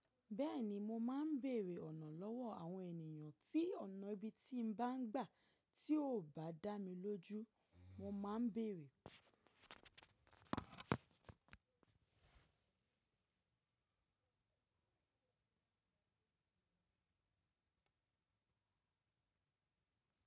Bẹ́ẹ̀ni mo máa ń bèrè ọ̀nà lọ́wọ́ àwọn ènìyàn tí ọ̀nà ibi tí n bá ń gbà tí ò bá dá mi lójú, mo má ń bèrè.